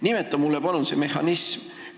Nimeta mulle palun see mehhanism!